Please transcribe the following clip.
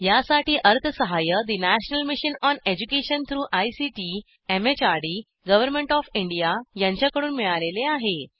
यासाठी अर्थसहाय्य national mission on education through ICT MHRD government of India यांच्याकडून मिळालेले आहे